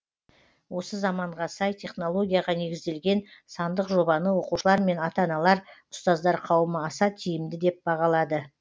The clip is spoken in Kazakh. осы заманға сай технологияға негізделген сандық жобаны оқушылар мен ата аналар ұстаздар қауымы аса тиімді деп бағалады